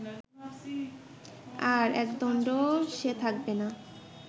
আর একদন্ডও সে থাকবে না